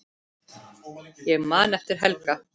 Ég man eftir Helga.